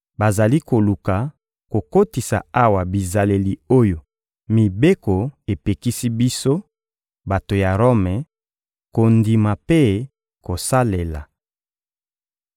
Bazali koluka kokotisa awa bizaleli oyo mibeko epekisi biso, bato ya Rome, kondima mpe kosalela.